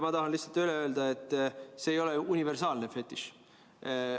Ma tahan lihtsalt öelda, et see ei ole universaalne fetiš.